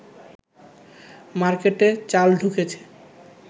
মার্কেটে চাল ঢুকেছে